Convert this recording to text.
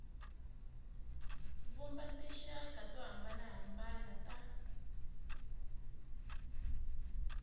vumba tinxaka to hambanahambana ta